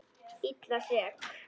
Illa sek.